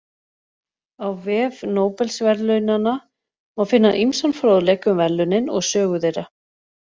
Á vef Nóbelsverðlaunanna má finna ýmsan fróðleik um verðlaunin og sögu þeirra.